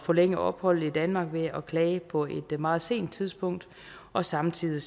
forlænge opholdet i danmark ved at klage på et meget sent tidspunkt og samtidig